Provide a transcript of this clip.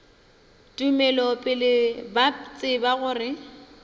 tumelo pele ba tseba gore